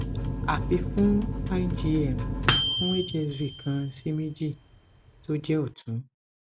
afi fun cs] igm fun hsv kan si meji to je otun